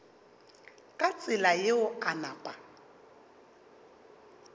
ka tsela yeo a napa